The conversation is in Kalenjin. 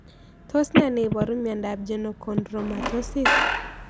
Tos ne niparu miondop Genochondromatosis